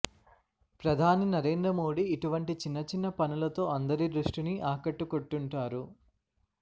ప్రధాని నరేంద్ర మోడి ఇటువంటి చిన్నచిన్న పనులతో అందరి దృష్టిని ఆకట్టుకొంటుంటారు